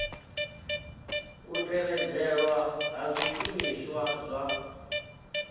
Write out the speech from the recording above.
u tevhedzelwa ha zwishumiswa zwa